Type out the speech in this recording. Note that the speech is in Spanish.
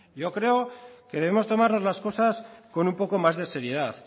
yo creo que debemos tomarnos las cosas con un poco más de seriedad